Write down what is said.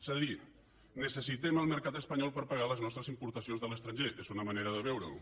és a dir necessitem el mercat espanyol per pagar les nostres importacions de l’estranger que és una manera de veure ho